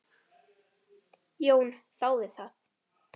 Jón þáði það.